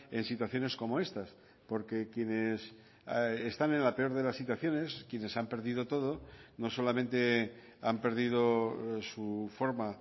en situaciones como estas porque quienes están en la peor de las situaciones quienes han perdido todo no solamente han perdido su forma